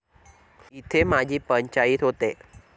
इथेच माझी पंचाईत होते.